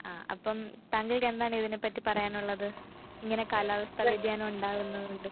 ആഹ് അപ്പം താങ്കൾക്കെന്താണ് ഇതിനെപ്പറ്റി പറയാനുള്ളത്? ഇങ്ങനെ കാലാവസ്ഥ വ്യതിയാനം ഉണ്ടാവുന്നതുകൊണ്ട്.